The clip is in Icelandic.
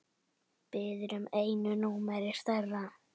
Biður um einu númeri stærra.